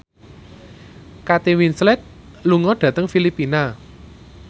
Kate Winslet lunga dhateng Filipina